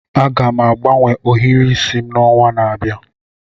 Aga m agbanwe ohiri isi m n'ọnwa na-abịa.